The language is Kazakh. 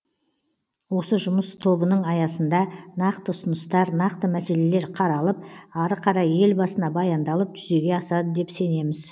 осы жұмыс тобының аясында нақты ұсыныстар нақты мәселелер қаралып ары қарай елбасына баяндалып жүзеге асады деп сенеміз